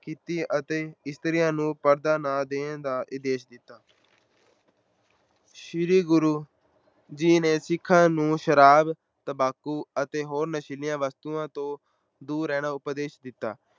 ਕੀਤੀ ਅਤੇ ਇਸਤਰੀਆਂ ਨੂੰ ਪਰਦਾ ਨਾ ਦੇਣ ਦਾ ਆਦੇਸ਼ ਦਿੱਤਾ ਸ੍ਰੀ ਗੁਰੂ ਜੀ ਨੇ ਸਿੱਖਾਂ ਨੂੰ ਸ਼ਰਾਬ, ਤੰਬਾਕੂ ਅਤੇ ਹੋਰ ਨਸ਼ੀਲੀਆਂ ਵਸਤੂਆਂ ਤੋਂ ਦੂਰ ਰਹਿਣਾ ਉਪਦੇਸ਼ ਦਿੱਤਾ।